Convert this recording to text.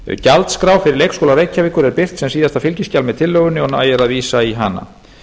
gjaldskrá fyrir leikskóla reykjavíkur er birt sem síðasta fylgiskjal með tillögunni og nægir að vísa í hana